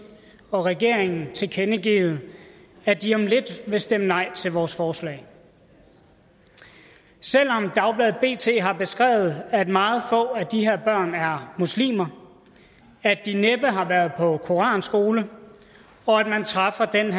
og regeringen tilkendegivet at de om lidt vil stemme nej til vores forslag selv om dagbladet bt har beskrevet at meget få af de her børn er muslimer at de næppe har været på koranskole og at man træffer den